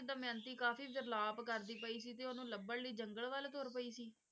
ਦਮਿਅੰਤੀ ਕਾਫ਼ੀ ਵਿਰਲਾਪ ਕਰਦੀ ਪਈ ਸੀ ਤੇ ਉਹਨੂੰ ਲੱਭਣ ਲਈ ਜੰਗਲ ਵੱਲ ਤੁਰ ਪਈ ਸੀ?